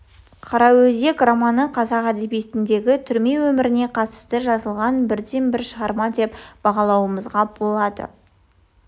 қараөзек романы қазақ әдебиетіндегі түрме өміріне қатысты жазылған бірден-бір шығарма деп бағалауымызға болады